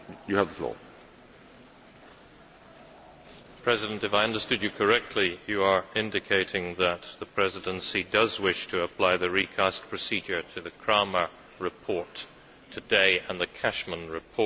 Mr President, if I understood you correctly, you are indicating that the presidency does wish to apply the recast procedure to the Krahmer report today and the Cashman report.